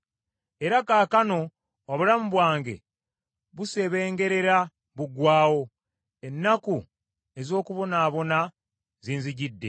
“Era kaakano obulamu bwange buseebengerera buggwaawo, ennaku ez’okubonaabona zinzijjidde.